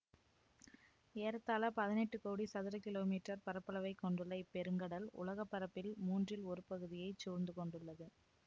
ஏறத்தாழ பதினெட்டு கோடி சதுர கிலோமீற்றர் பரப்பளவைக் கொண்டுள்ள இப்பெருங்கடல் உலக பரப்பில் மூன்றில் ஒரு பகுதியை சூழ்ந்து கொண்டுள்ளது